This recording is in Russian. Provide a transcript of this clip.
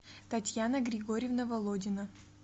татьяна григорьевна володина